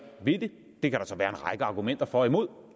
ved det det kan der så være en argumenter for og imod og